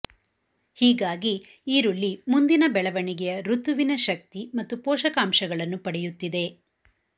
ಹೀಗಾಗಿ ಈರುಳ್ಳಿ ಮುಂದಿನ ಬೆಳವಣಿಗೆಯ ಋತುವಿನ ಶಕ್ತಿ ಮತ್ತು ಪೋಷಕಾಂಶಗಳನ್ನು ಪಡೆಯುತ್ತಿದೆ